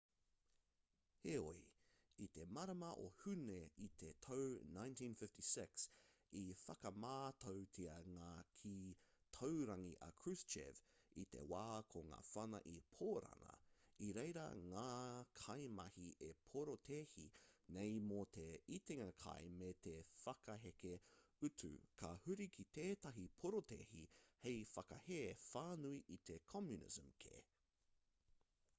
heoi i te marama o hūne i te tau 1956 i whakamātautia ngā kī taurangi a kruschev i te wā ko ngā whana i pōrana i reira ngā kaimahi e porotēhi nei mō te itinga kai me te whakaheke utu ka huri ki tētahi porotēhi hei whakahē whānui i te communism kē